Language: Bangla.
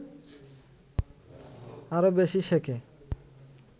আরও বেশি শেখে